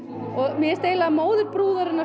mér finnst eiginlega móðir brúðarinnar